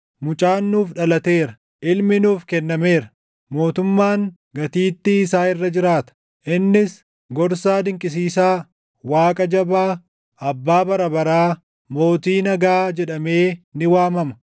Mucaan nuuf dhalateera; ilmi nuuf kennameera; mootummaan gatiittii isaa irra jiraata. Innis Gorsaa Dinqisiisaa, Waaqa Jabaa, Abbaa Bara baraa, Mootii Nagaa jedhamee ni waamama.